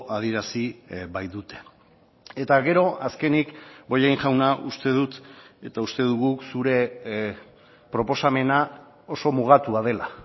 adierazi baitute eta gero azkenik bollain jauna uste dut eta uste dugu zure proposamena oso mugatua dela